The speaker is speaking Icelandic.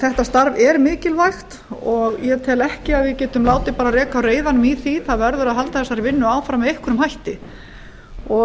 þetta starf er mikilvægt og ég tel ekki að við getum látið reka á reiðanum í því það verður að halda þessari vinnu áfram með einhverjum hætti